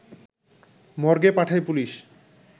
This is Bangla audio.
মর্গে পাঠায় পুলিশ